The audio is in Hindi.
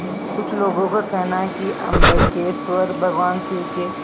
कुछ लोगों को कहना है कि अम्बकेश्वर भगवान शिव के